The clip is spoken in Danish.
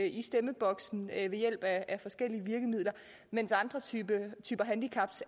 i stemmeboksen ved hjælp af forskellige virkemidler mens andre typer handicap